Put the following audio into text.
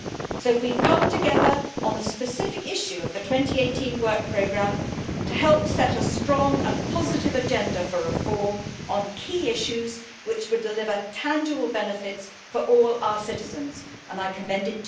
So we have come together on the specific issue of the 2018 work programme to help set a strong and positive agenda for reform on key issues which would deliver tangible benefits to all our citizens, and I commend it to you.